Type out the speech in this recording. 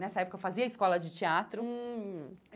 Nessa época, eu fazia escola de teatro. Hum